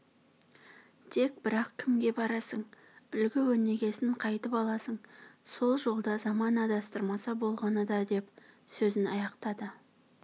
тек бірақ кімге барасың үлгі-өнегесін қайтіп аласың сол жолда заман адастырмаса болғаны да деп сөзін аяқтады